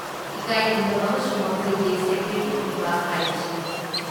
ꯏꯀꯥꯏ ꯈꯨꯝꯅꯕ ꯑꯃꯁꯨꯡ ꯃꯈꯣꯏꯒꯤ ꯁꯦꯀ꯭ꯌꯨꯔꯤꯇꯤ ꯄꯤꯕ ꯍꯥꯏꯕꯁꯤꯅꯤ ꯫